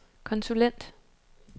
konsulent